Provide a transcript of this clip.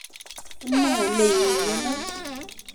nee ne iung'eno?